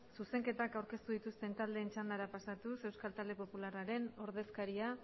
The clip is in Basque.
zuzenketak aurkeztu dituzte taldeen txandara pasatuz euskal talde popularraren ordezkaria